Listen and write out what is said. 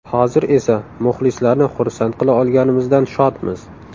Hozir esa muxlislarni xursand qila olganimizdan shodmiz.